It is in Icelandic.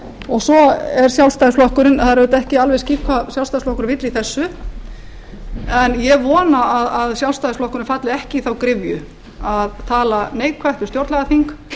og svo er sjálfstæðisflokkurinn það er auðvitað ekki alveg skýrt hvað sjálfstæðisflokkurinn vill í þessu en ég vona að sjálfstæðisflokkurinn falli ekki í þá gryfju að tala neikvætt um stjórnlagaþing